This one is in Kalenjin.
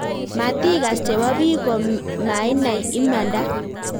Matigas chebo biik ko mainai imanda